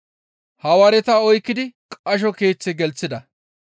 Hawaareta oykkidi qasho keeththe gelththida.